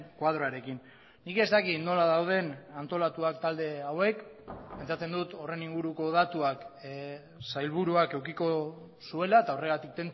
koadroarekin nik ez dakit nola dauden antolatuak talde hauek pentsatzen dut horren inguruko datuak sailburuak edukiko zuela eta horregatik